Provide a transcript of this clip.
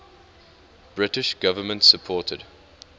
british government supported